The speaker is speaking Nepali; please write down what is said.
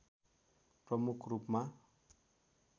प्रमुख रूपमा